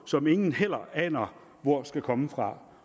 som ingen heller aner hvor skal komme fra